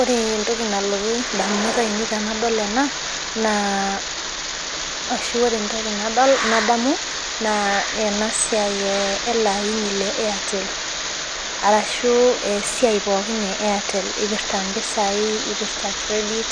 Ore entoki nalotu indamunot ainei tenadol ena naa, ashu ore entoki nadol nadamu naa ena siai ele aini le airtel arashu esiai pookin e airtel ipirta impisai, ipirta credit